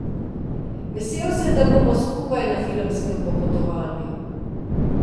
Vesel sem, da bomo skupaj na filmskem popotovanju.